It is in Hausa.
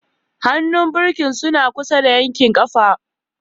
Hannun birki suna kusa da yankin ƙafa.